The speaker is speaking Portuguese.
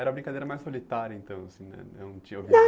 Era a brincadeira mais solitária, então assim né, não tinha alguém? Não